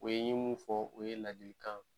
O ye n ɲe min fɔ, o ye ladilikan